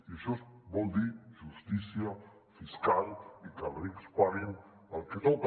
i això vol dir justícia fiscal i que els rics paguin el que toca